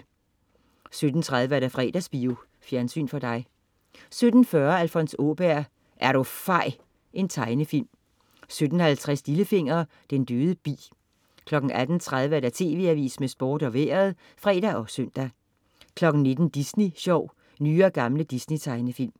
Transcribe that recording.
17.30 Fredagsbio. Fjernsyn for dig 17.40 Alfons Åberg. Er du fej! . Tegnefilm 17.50 Lillefinger. Den døde bi 18.30 TV Avisen med Sport og Vejret (fre og søn) 19.00 Disney Sjov. Nye og gamle Disney-tegnefilm